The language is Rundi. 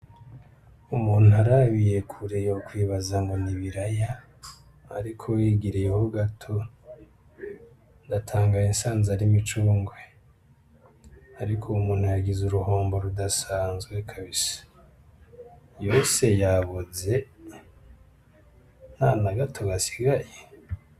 Umuntu arabiye kure yokwibaza ngo ni ibiraya ariko wegereyeho gato ndatangaye nsanze ari imicungwe. Ariko uwu muntu yagize uruhombo rudasanzwe kabisa. Yose yaboze ntana gato gasigaye!